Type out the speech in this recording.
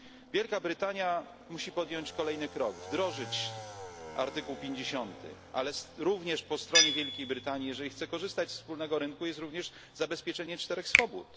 Wielka Brytania musi podjąć kolejny krok wdrożyć artykuł 50, ale również po stronie Wielkiej Brytanii, jeżeli chce korzystać ze wspólnego rynku, jest również zabezpieczenie czterech swobód.